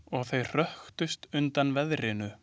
Og þau hröktust undan veðrinu.